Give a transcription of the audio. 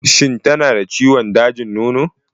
Shin tana da ciwon dajin nono?